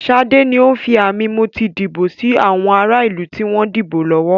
Sade ńi o fi àmì-moti dìbò sì àwọn ará ìlú tó ti dìbò lọ́wọ́.